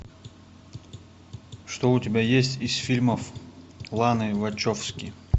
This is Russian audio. что у тебя есть из фильмов ланы вачовски